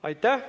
Aitäh!